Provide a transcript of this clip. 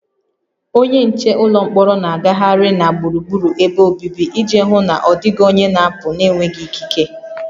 Onye nche ụlọ mkpọrọ na-agagharị na gburugburu ebe obibi iji hụ na ọ dịghị onye na-apụ n'enweghị ikike